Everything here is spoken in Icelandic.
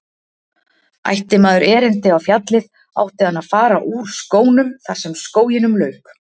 Ætti maður erindi á fjallið átti hann að fara úr skónum þar sem skóginum lauk.